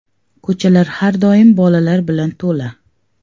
Ko‘chalar har doim bolalar bilan to‘la.